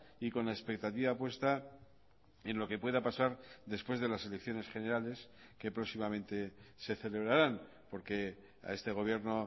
y con la expectativa puesta en lo que pueda pasar después de las elecciones generales que próximamente se celebrarán porque a este gobierno